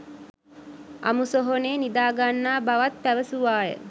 අමු සොහොනේ නිදාගන්නා බවත් පැවසුවාය.